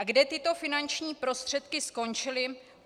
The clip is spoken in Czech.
A kde tyto finanční prostředky skončily?